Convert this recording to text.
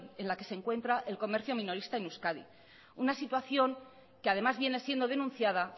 en la que se encuentra el comercio minorista en euskadi una situación que además viene siendo denunciada